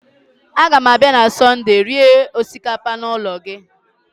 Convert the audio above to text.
A gam abịa na Sọndee rie osikapa n'ụlọ gị